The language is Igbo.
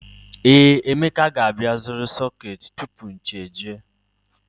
Ee, Emeka ga-abịa ịzụrụ sọketi tupu chi ejie